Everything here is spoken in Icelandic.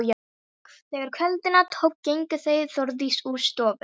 Þegar kvölda tók gengu þau Þórdís úr stofu.